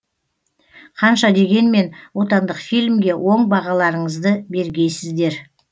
қанша дегенмен отандық фильмге оң бағаларыңызды бергейсіздер